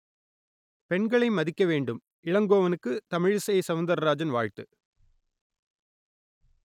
பெண்களை மதிக்க வேண்டும் இளங்கோவனுக்கு தமிழிசை சவுந்தரராஜன் வாழ்த்து